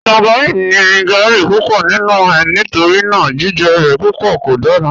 Tangerine ni gáarí púpọ̀ nínu è nítorína jìjẹ rẹ̀ púpọ̀ kò dára